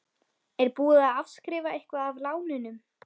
Er búið að afskrifa eitthvað af lánunum?